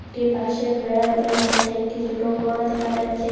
একটি বাঁশের বেড়াও দেখা যাচ্ছে একটি ছোটো ঘরও দেখা যাচ্ছে।